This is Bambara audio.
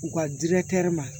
U ka ma